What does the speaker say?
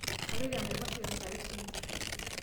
kaloito enaiposha aitayu isingirr